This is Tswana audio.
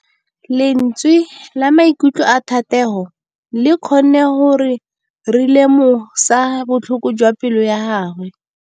Lentswe la maikutlo a Thategô le kgonne gore re lemosa botlhoko jwa pelô ya gagwe.